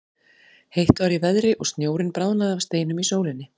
Heitt var í veðri og snjórinn bráðnaði af steinum í sólinni.